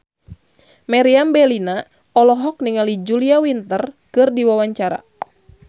Meriam Bellina olohok ningali Julia Winter keur diwawancara